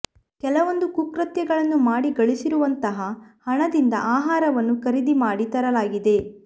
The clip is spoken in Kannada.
ಕೆಲವೊಂದು ಕುಕೃತ್ಯಗಳನ್ನು ಮಾಡಿ ಗಳಿಸಿರುವಂತಹ ಹಣದಿಂದ ಆಹಾರವನ್ನು ಖರೀದಿ ಮಾಡಿ ತರಲಾಗಿದೆ